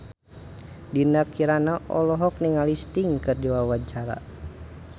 Dinda Kirana olohok ningali Sting keur diwawancara